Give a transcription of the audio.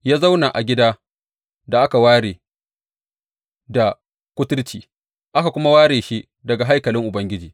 Ya zauna a gidan da aka ware, da kuturci, aka kuma ware shi daga haikalin Ubangiji.